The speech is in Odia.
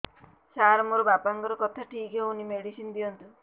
ସାର ମୋର ବାପାଙ୍କର କଥା ଠିକ ହଉନି ମେଡିସିନ ଦିଅନ୍ତୁ